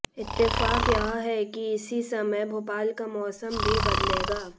इत्तेफाक यह है कि इसी समय भोपाल का मौसम भी बदलेगा